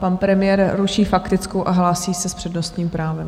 Pan premiér ruší faktickou a hlásí se s přednostním právem.